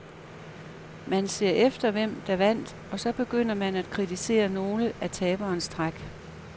Man ser efter, hvem der vandt og så begynder man at kritisere nogle af taberens træk.